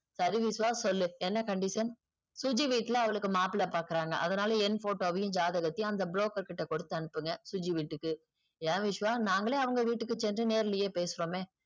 சரி விஷ்வா சொல்லு என்ன condition சுஜி வீட்ல அவளுக்கு மாப்பிள்ளை பாக்குறாங்க அதுனால என் photo வையும் ஜாதகத்தையும் அந்த brokker கிட்ட குடுத்து அனுப்புங்க சுஜி வீட்டுக்கு ஏன் விஷ்வா நாங்களே அவங்க வீட்டுக்கு சென்று நேர்லையே பேசுறோமே